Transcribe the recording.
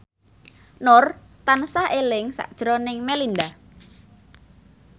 Nur tansah eling sakjroning Melinda